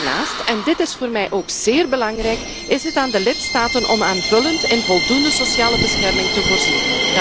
Daarnaast, en dit is voor mij ook zeer belangrijk, is het aan de lidstaten om aanvullend in voldoende sociale bescherming te voorzien.